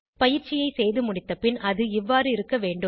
பயிற்சியை செய்து முடித்தபின் அது இவ்வாறு இருக்க வேண்டும்